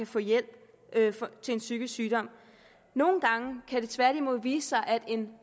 få hjælp til en psykisk sygdom nogle gange kan det tværtimod vise sig at en